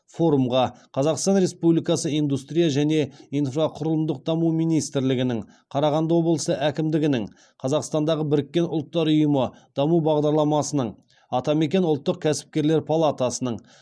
форумға қазақстан республикасы индустрия және инфрақұрылымдық даму министрлігінің қарағанды облысы әкімдігінің қазақстандағы біріккен ұлттар ұйымы даму бағдарламасының атамекен ұлттық кәсіпкерлер палатасының